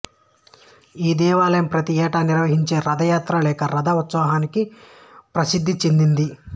ఈ దేవాలయం ప్రతి ఏటా నిర్వహించే రథయాత్ర లేక రథ ఉత్సవానికి ప్రసిద్ధి చెందింది